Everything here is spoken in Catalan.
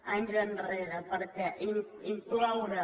anys enrere perquè incloure